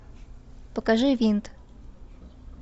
покажи винт